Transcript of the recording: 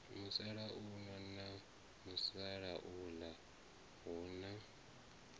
musalauno na musalauḽa hu na